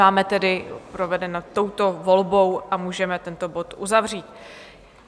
Máme tedy provedeno touto volbou a můžeme tento bod uzavřít.